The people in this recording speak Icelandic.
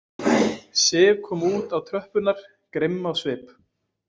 Sif kom út á tröppurnar, grimm á svip.